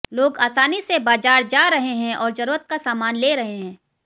लोग आसानी से बाजार जा रहे हैं और जरूरत का सामान ले रहे हैं